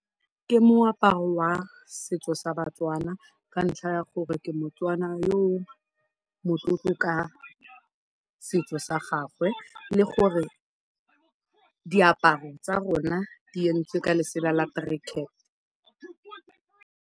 Ke moaparo wa setso sa Batswana ka ntlha ya gore ke Motswana yo o motlotlo ka setso sa gagwe le gore diaparo tsa rona di yentswe ka lesela la .